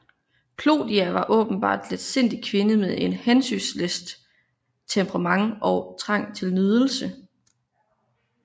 Clodia var en åbenbart letsindig kvinde med et hensynsløst temperament og trang til nydelse